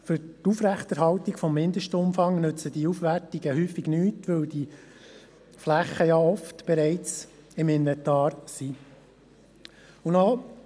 Für die Aufrechterhaltung des Mindestumfangs nützen diese Auswertungen oft nichts, weil sich diese Flächen ja oft bereits im Inventar befinden.